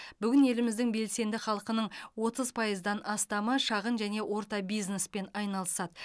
бүгін еліміздің белсенді халқының отыз пайыздан астамы шағын және орта бизнеспен айналысады